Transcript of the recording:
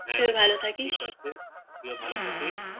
হ্যাঁ তুইও ভালো থাকিস ঠিকআছে তুইও ভালো থাকিস